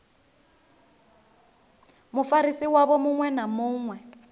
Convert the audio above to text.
mufarisi wavho muṅwe na muṅwe